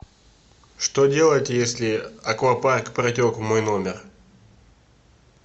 что делать если аквапарк протек в мой номер